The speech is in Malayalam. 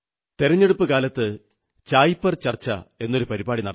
തെരഞ്ഞെടുപ്പു കാലത്ത് ചായ് പേ ചർച്ച എന്നൊരു പരിപാടി നടത്തി